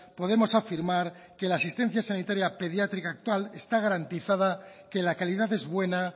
podemos afirmar que la asistencia sanitaria pediátrica actual está garantizada que la calidad es buena